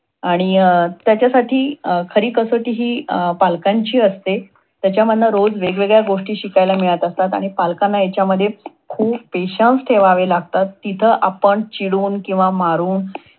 आणि अं त्याच्च्यासाठी खरी कसोटी हि त्यांच्या पालकांची असते. त्यांच्यामधन रोज वेगवेगळ्या गोष्टी शिकायला मिळत असतात. आणि पालकांना ह्याच्यामध्ये खूप petions ठेवावे लागतात. तिथे आपण चिडून किंवा मारून